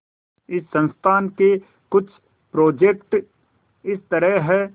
इस संस्थान के कुछ प्रोजेक्ट इस तरह हैंः